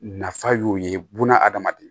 Nafa y'o ye buna hadamaden